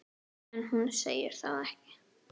En hún segir það ekki.